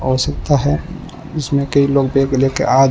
आवश्यकता है इसमें कोई लोग बैग लेके आ--